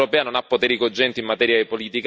La situazione peggiora a vista d'occhio.